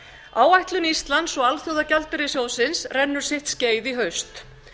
áætlun íslands og alþjóðagjaldeyrissjóðsins rennur sitt skeið í haust